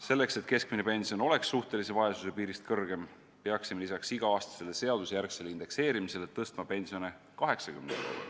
Selleks et keskmine pension jääks suhtelise vaesuse piirist kõrgemale, peaksime lisaks iga-aastasele seadusjärgsele indekseerimisele tõstma pensione 80 euro võrra.